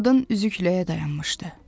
Qadın üzükləyə dayanmışdı.